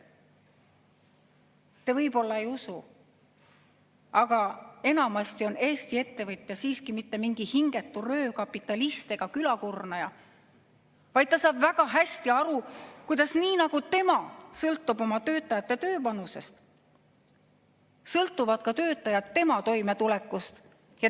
Te võib-olla ei usu, aga enamasti ei ole Eesti ettevõtja mingi hingetu röövkapitalist ega külakurnaja, vaid ta saab väga hästi aru, et nii nagu tema sõltub oma töötajate tööpanusest, sõltuvad töötajad tema toimetulekust.